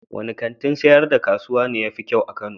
Wanne kantin sayar da kasuwa ne ya fi kyau a Kano?